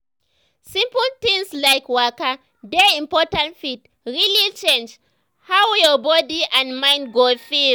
simple things like waka dey important fit really change how your body and mind go feel.